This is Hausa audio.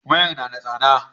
Wayan na da tsada